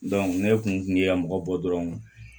ne kun ye mɔgɔ bɔ dɔrɔn